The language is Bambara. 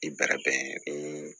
I bɛrɛ bɛn